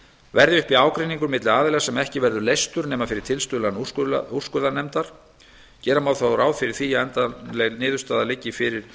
verði uppi ágreiningur milli aðila sem ekki verður leystur nema fyrir tilstuðlan úrskurðarnefndar gera má þó ráð fyrir því að endanleg niðurstaða liggi fyrir